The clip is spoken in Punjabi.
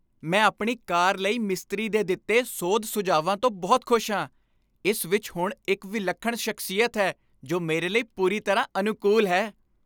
ਮੈਂ ਆਪਣੀ ਕਾਰ ਲਈ ਮਿਸਤਰੀ ਦੇ ਦਿੱਤੇ ਸੋਧ ਸੁਝਾਵਾਂ ਤੋਂ ਬਹੁਤ ਖੁਸ਼ ਹਾਂ। ਇਸ ਵਿੱਚ ਹੁਣ ਇੱਕ ਵਿਲੱਖਣ ਸ਼ਖਸੀਅਤ ਹੈ ਜੋ ਮੇਰੇ ਲਈ ਪੂਰੀ ਤਰ੍ਹਾਂ ਅਨੁਕੂਲ ਹੈ।